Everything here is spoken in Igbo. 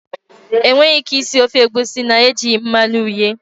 E nweghi ike isi ofe egusi na-ejighi mmanụ uhie.